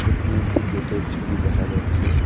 এখানে একটি গেটের ছবি দেখা যাচ্ছে।